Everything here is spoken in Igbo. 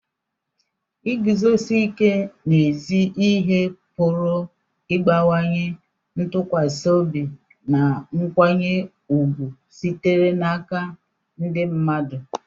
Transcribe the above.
iguzosi ike n'ezi ihe pụrụ ịbawanye ntụkwasị obi na nkwanye ùgwù sitere n'aka ndị mmadụ